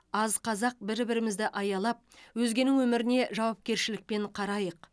аз қазақ бір бірімізді аялап өзгенің өміріне жауапкершілікпен қарайық